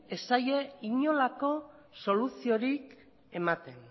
ez zaie inolako soluziorik ematen